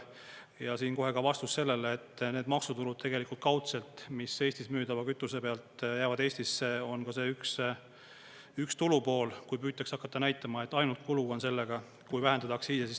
Ja siinkohal ka vastus sellele, et need maksutulud tegelikult kaudselt, mis Eestis müüdava kütuse pealt jäävad Eestisse, on ka see üks tulupool, kui püütakse hakata näitama, et ainult kulu on sellega, kui vähendada aktsiise.